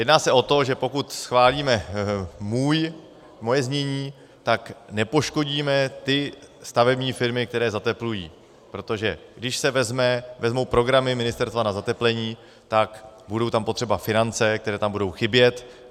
Jedná se o to, že pokud schválíme můj, moje znění, tak nepoškodíme ty stavební firmy, které zateplují, protože když se vezmou programy ministerstva na zateplení, tak budou tam potřeba finance, které tam budou chybět.